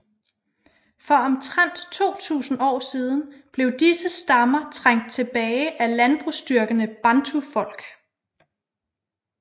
For omtrent 2000 år siden blev disse stammer trængt tilbage af landbrugsdyrkende bantufolk